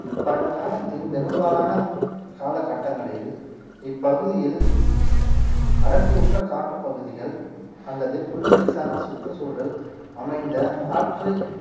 பழங்காலத்தின் பெரும்பாலான காலகட்டங்களில் இப்பகுதியில் அடர்த்திவுட்ட காட்டுப்பகுதிகள் அல்லது புல்வெளி சார்ந்த சுற்றுச்சூழல் அமைந்த ஆற்று